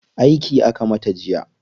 Aiki aka mata jiya.